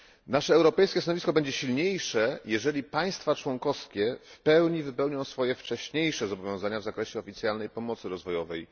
Nasze europejskie stanowisko będzie wymowniejsze, jeżeli państwa członkowskie w pełni wywiążą się ze swoich wcześniejszych zobowiązań w zakresie oficjalnej pomocy rozwojowej.